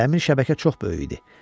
Dəmir şəbəkə çox böyük idi.